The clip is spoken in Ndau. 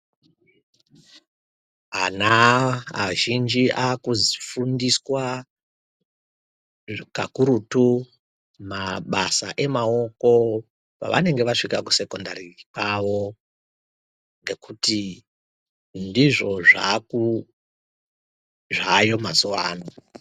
Ana azhinji akafundiswa kakurutu mabasa emaoko pavanenge vasvika kusekondari kwawo ngekuti ndizvo zvakuu zvayo mazuwa ano.